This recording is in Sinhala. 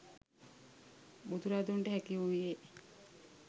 බුදුරදුන්ට හැකි වූයේ